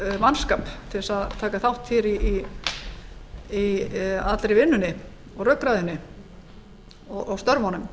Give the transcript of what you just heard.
mannskapa til að taka þátt í allri vinnunni og rökræðunni og störfunum